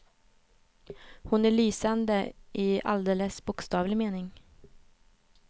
Hon är lysande i alldeles bokstavlig mening.